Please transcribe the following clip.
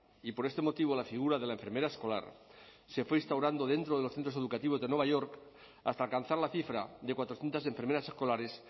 y por este motivo la figura de la enfermera escolar se fue instaurando dentro de los centros educativos de nueva york hasta alcanzar la cifra de cuatrocientos enfermeras escolares